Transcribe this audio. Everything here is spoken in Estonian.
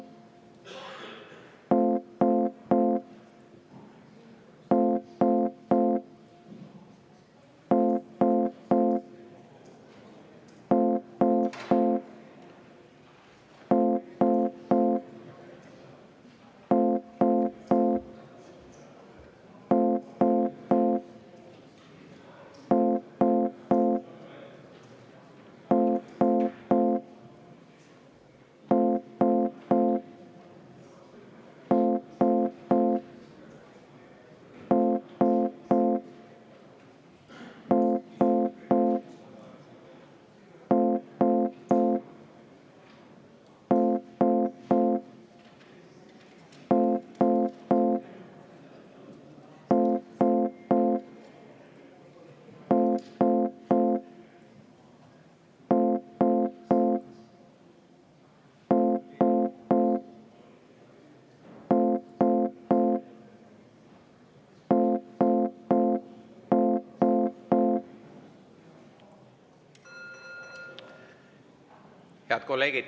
Head kolleegid!